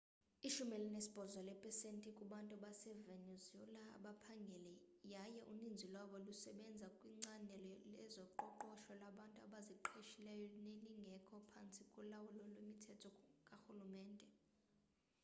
ishumi elinesibhozo leepesenti kubantu basevenuezela abaphangeli yaye uninzi lwabo lusebenza kwicandelo lezoqoqosho labantu abaziqeshileyo nelingekho phantsi kolawulo lwemithetho karhulumente